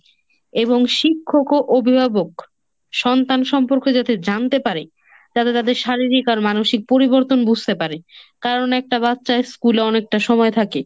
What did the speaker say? এবং শিক্ষক ও অভিভাবক সন্তান সম্পর্কে যাতে জানতে পারে, তারা তাদের শারীরিক আর মানসিক পরিবর্তন বুঝতে পারে, কারণ একটা বাচ্চা school এ অনেকটা সময় থাকে।